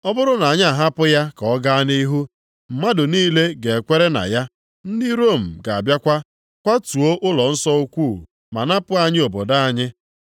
Ọ bụrụ na anyị ahapụ ya ka ọ gaa nʼihu, mmadụ niile ga-ekwere na ya. Ndị Rom ga-abịakwa, kwatuo ụlọnsọ ukwu ma napụ anyị obodo anyị.”